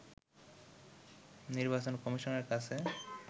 নির্বাচন কমিশনের কাছে